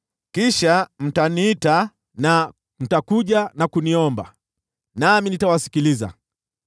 Kisha mtaniita, na mtakuja na kuniomba, nami nitawasikiliza.